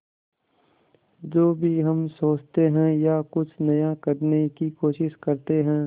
जो भी हम सोचते हैं या कुछ नया करने की कोशिश करते हैं